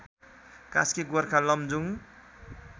Kaski Gorkha Lamjung